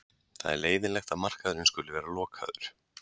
Það er leiðinlegt að markaðurinn skuli vera lokaður.